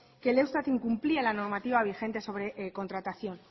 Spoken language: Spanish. que e eustat incumplía la normativa vigente sobre contratación